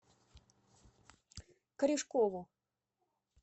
корешкову